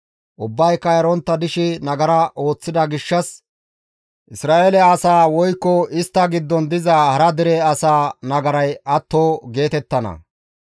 Ubbayka erontta dishe nagara ooththida gishshas Isra7eele asaa woykko istta giddon diza hara dere asaa nagaray atto geetettana.